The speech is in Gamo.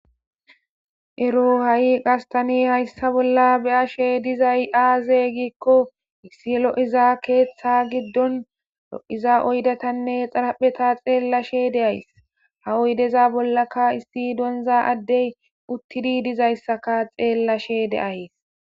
ero ha7i gastani hayssa bolla be ashe dizay aazey gikko issi lo7iza keeththa giddon lo7iza oydatanne xarapheta xeellashe deays ha oydeza bollaka issi donza addey uttidi dizayssaka xeellashe deays